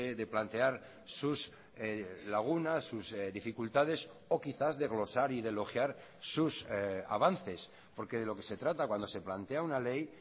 de plantear sus lagunas sus dificultades o quizás de glosar y de elogiar sus avances porque de lo que se trata cuando se plantea una ley